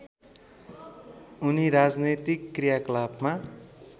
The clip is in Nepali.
उनी राजनैतिक क्रियाकलापमा